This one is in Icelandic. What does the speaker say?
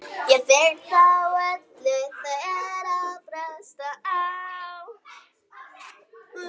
Það voraði snemma.